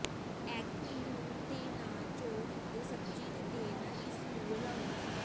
egg ਲੂਣ ਦੇ ਨਾਲ ਚੌਰ ਅਤੇ ਸਬਜ਼ੀ ਦੇ ਤੇਲ ਨਾਲ ਇਸ ਨੂੰ ਰਲਾਉਣ